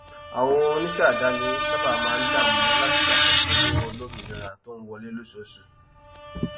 àwọn onísẹàdáni sáábà máa ń dààmú láti ṣàkóso owó olómìnira tó ń wọlé lóṣooṣù